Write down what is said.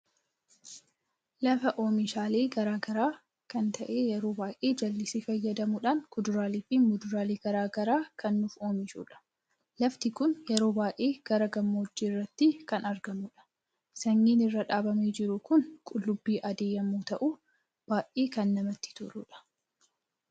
Lafa oomishaalee garagaraa kan ta'ee yeroo baay'ee jallisi faayyadamuudhan kuduraalee fi muduraalee garagaraa kan nuf Oomishudha. Lafti kun yeroo baay'ee gara gammoojjii irratti kan argamudha. sanyiin irra dhabamee jiru kun qullubbii adii yemmu ta'u ,baay'ee kan namatti toludha.